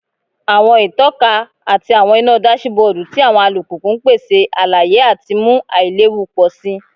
Awọn itọka ati awọn ina dasibodu ti awọn alupupu n pese alaye ati mu ailewu pọ si